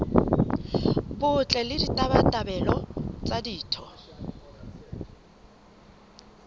botle le ditabatabelo tsa ditho